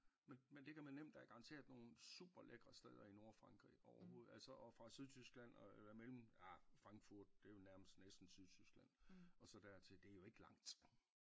Men men det kan man nemt garantere at nogle super lækre steder i Nordfrankrig overhovedet altså og fra Sydtyskland og eller mellem ah Frankfurt det jo nærmest næsten Sydtyskland og så dertil det jo ikke langt